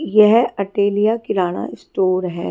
ये अटेलिया किरणा स्टोर हैं।